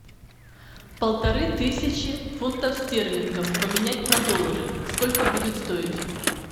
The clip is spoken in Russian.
полторы тысячи фунтов стерлингов поменять на доллары сколько будет стоить